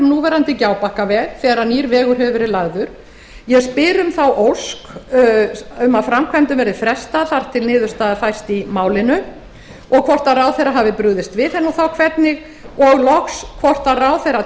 núverandi gjábakkaveg þegar nýr vegur hefur verið lagður ég spyr um þá ósk að framkvæmdum verði frestað þar til niðurstaða fæst í málinu og hvort ráðherra hafi brugðist við henni og þá hvernig og loks hvort ráðherra